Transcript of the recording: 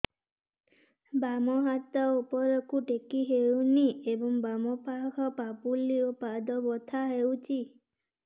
ବାମ ହାତ ଉପରକୁ ଟେକି ହଉନି ଏବଂ ବାମ ପାଖ ପାପୁଲି ଓ ପାଦ ବଥା ହଉଚି